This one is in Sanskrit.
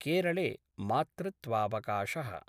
केरले मातृत्वावकाशः